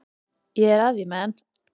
Ég er á því að Man.